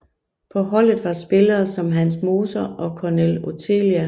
På holdet var spillere som Hans Moser og Cornel Oțelea